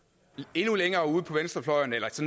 endnu længere ude på venstrefløjen